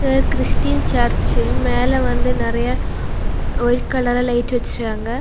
இது Christian church மேலே வந்து நெறைய வைட் கலர்ல லைட்ல வெச்சிருக்காங்க.